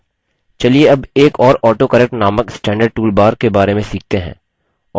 चलिए अब एक और autocorrect नामक स्टैन्डर्ड टूल बार के बारे में सीखते हैं